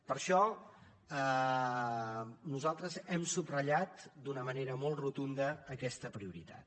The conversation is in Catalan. per això nosaltres hem subratllat d’una manera molt rotunda aquesta prioritat